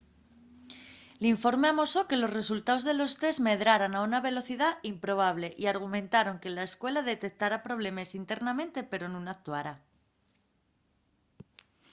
l’informe amosó que los resultaos de los test medraran a una velocidá improbable y argumentaron que la escuela detectara problemes internamente pero nun actuara